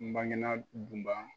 N bangena Dunba